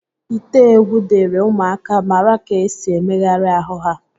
Ite egwu dịịrị ụmụaka mara ka esi emegharị ahụ ha